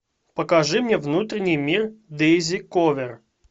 покажи мне внутренний мир дэйзи кловер